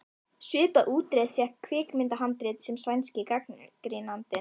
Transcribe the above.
Svipaða útreið fékk kvikmyndahandrit sem sænski gagnrýnandinn